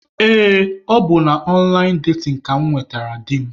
Ee, ọ bụ na ọnlaịn datin ka mụ nwetara di m.